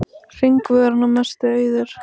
Hringvegurinn að mestu auður